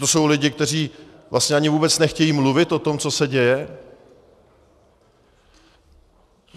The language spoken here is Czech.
To jsou lidé, kteří vlastně ani vůbec nechtějí mluvit o tom, co se děje.